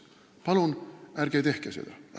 Palun ärge tehke seda!